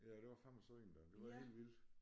Ja det var fandme synd da det var helt vildt